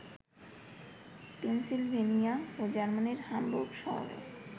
Pennsylvania ও জার্মানির Hamburg শহরে